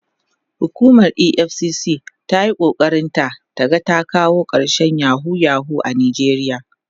hukumar EFCC tana iya ƙoƙarin ta ta ga ta kawo karshen yahoo yahoo a nijeriya